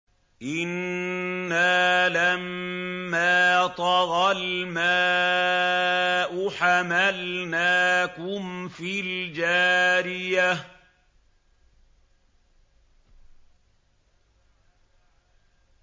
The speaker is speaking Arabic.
إِنَّا لَمَّا طَغَى الْمَاءُ حَمَلْنَاكُمْ فِي الْجَارِيَةِ